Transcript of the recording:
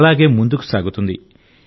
అలాగే ముందుకు సాగుతుంది